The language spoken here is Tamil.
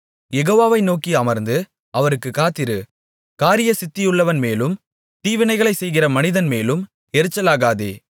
யெகோவாவை நோக்கி அமர்ந்து அவருக்குக் காத்திரு காரியசித்தியுள்ளவன் மேலும் தீவினைகளைச் செய்கிற மனிதன் மேலும் எரிச்சலாகாதே